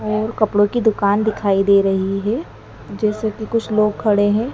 और कपड़ों की दुकान दिखाई दे रही है जैसे कि कुछ लोग खड़े हैं।